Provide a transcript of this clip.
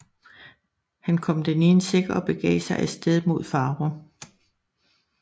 Han kom den i en sæk og begav sig af sted mod Farum